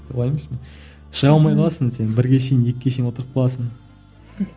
олай емес мен шыға алмай қаласың сен бірге шейін екіге шейін отырып қаласың